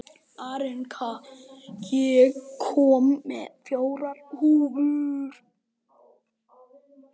Arnika, ég kom með fjórar húfur!